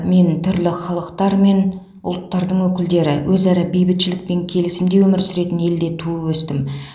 мен түрлі халықтар мен ұлттардың өкілдері өзара бейбітшілік пен келісімде өмір сүретін елде туып өстім